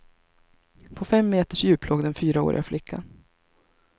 På fem meters djup låg den fyraåriga flickan.